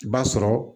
I b'a sɔrɔ